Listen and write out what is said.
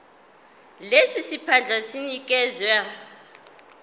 lesi siphandla sinikezwa